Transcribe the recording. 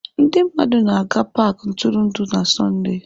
Ndị mmadụ na-aga paaki ntụrụndụ na Sọnde.